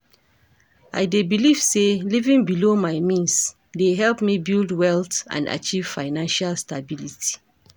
I dey believe say living below my means dey help me build wealth and achieve financial stability.